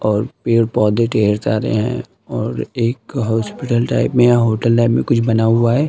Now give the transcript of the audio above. और पेड़-पौधे ढेर सारे हैं और एक हॉस्पिटल टाइप में या होटल टाइप मे कुछ बना हुआ है।